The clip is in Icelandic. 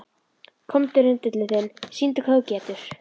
Komdu rindillinn þinn, sýndu hvað þú getur.